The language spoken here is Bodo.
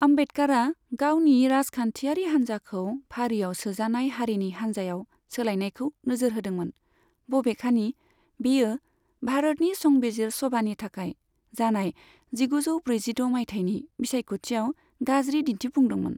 आमबेडकारआ गावनि राजखान्थियारि हानजाखौ फारियाव सोजानाय हारिनि हानजायाव सोलायनायखौ नोजोर होदोंमोन, बबेखानि बेयो भारतनि संबिजिर सभानि थाखाय जानाय जिगुजौ ब्रैजिद' माइथायनि बिसायख'थियाव गाज्रि दिन्थिफुंदोंमोन।